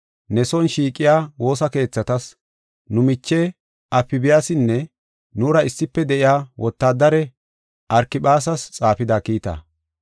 ne son shiiqiya woosa keethatas, nu miche Afbiyaasinne nuura issife de7iya wotaadare Arkiphaasas xaafida kiita.